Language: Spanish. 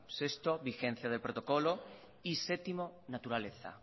sexto vigencia del protocolo y séptimo naturaleza